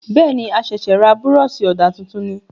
Bẹ́ẹ̀ni,a ṣẹ̀sẹ̀ ra Búrọ̀ṣì ọ̀dà tuntun ni